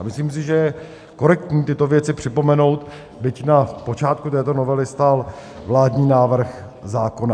A myslím si, že je korektní tyto věci připomenout, byť na počátku této novely stál vládní návrh zákona.